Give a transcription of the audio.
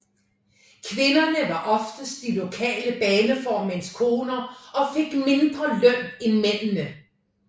Kvinderne var oftest de lokale baneformænds koner og fik mindre i løn end mændene